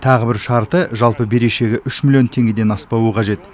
тағы бір шарты жалпы берешегі үш миллион теңгеден аспауы қажет